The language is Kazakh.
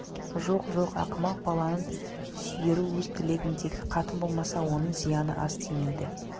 жоқ жоқ ақымақ балаңның сүйері өз тілегіндегі қатын болмаса оның зияны аз тимейді